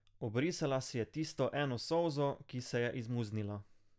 Obrisala je tisto eno solzo, ki se je izmuznila.